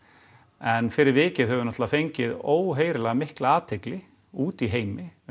en fyrir vikið höfum við náttúrulega fengið óheyrilega mikla athygli úti í heimi